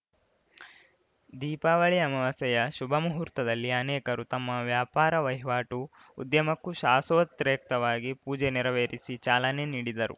ದೀಪಾವಳಿ ಅಮವಾಸ್ಯೆಯ ಶುಭ ಮುಹೂರ್ತದಲ್ಲಿ ಅನೇಕರು ತಮ್ಮ ವ್ಯಾಪಾರ ವಹಿವಾಟು ಉದ್ಯಮಕ್ಕೂ ಶಾಸೊತ್ರೇಕ್ತವಾಗಿ ಪೂಜೆ ನೆರವೇರಿಸಿ ಚಾಲನೆ ನೀಡಿದರು